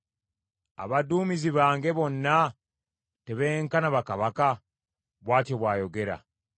‘Abaduumizi bange bonna tebenkana bakabaka?’ bw’atyo bw’ayogera.